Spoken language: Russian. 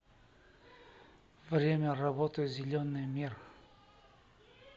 время работы зеленый мир